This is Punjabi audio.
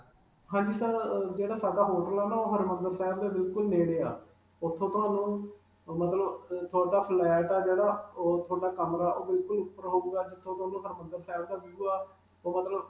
ਹਾਂਜੀ sir, ਅਅ ਜਿਹੜਾ ਸਾਡਾ hotel ਹੈ ਨਾ, ਉਹ ਹਰਿਮੰਦਰ ਸਾਹਿਬ ਦੇ ਬਿਲਕੁਲ ਨੇੜੇ ਹੈ. ਉਥੋਂ ਤਾਂ ਮਤਲਬ ਅਅ ਤੁਹਾਡਾ flat ਹੈ ਜਿਹੜਾ ਉਹ ਤੁਹਾਡਾ ਕਮਰਾ ਉਹ ਬਿਲਕੁਲ ਜਿਥੋਂ ਤੁਹਾਨੂੰ ਹਰਿਮੰਦਰ ਸਾਹਿਬ ਦਾ view ਹੈ, ਉਹ ਮਤਲਬ.